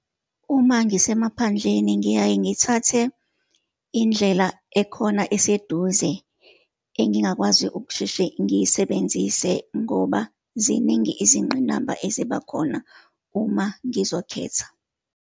Uma ngisemaphandleni, ngiyaye ngithathe indlela ekhona eseduze engingakwazi ukusheshe ngiyisebenzise, ngoba ziningi izingqinamba ezibakhona uma ngizokhetha.